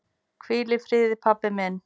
Hvíl í friði, pabbi minn.